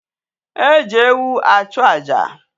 E ji ewu achu aja.